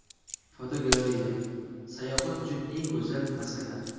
Fotogalereya: Sayohat uchun eng go‘zal maskanlar.